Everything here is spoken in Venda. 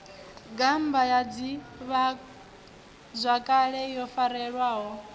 gammba ya ḓivhazwakale yo farelwaho